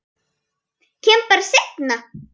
Kem bara seinna.